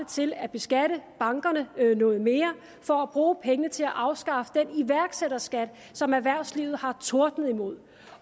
til at beskatte bankerne noget mere og bruge pengene til at afskaffe den iværksætterskat som erhvervslivet har tordnet imod